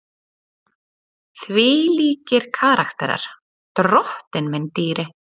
Þvílíkir karakterar, drottinn minn dýri!